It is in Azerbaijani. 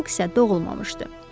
Pusk isə doğulmamışdı.